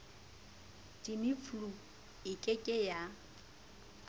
tamiflu e ke ke ya